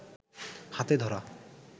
হাতে ধরা